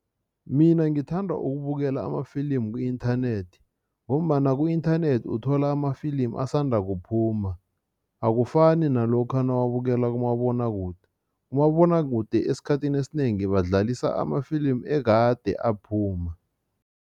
Mina ngithanda ukubukela amafilimu ku-inthanethi ngombana ku-inthanethi uthola amafilimu asanda kuphuma, akufani nalokha nawuwabukela kumabonwakude. Kumabonwakude esikhathini esinengi badlalisa amafilimu ekade aphuma.